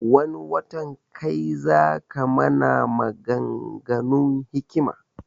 Wani watan kai zaka mana magan ganun hikima